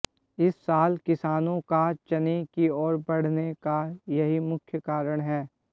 इस साल किसानों का चने की ओर बढऩे का यही मुख्य कारण है